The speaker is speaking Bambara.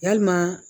Yalima